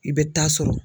I bɛ taa sɔrɔ